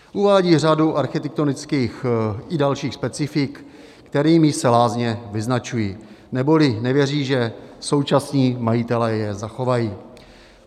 Uvádí řadu architektonických i dalších specifik, kterými se lázně vyznačují, neboli nevěří, že současní majitelé je zachovají.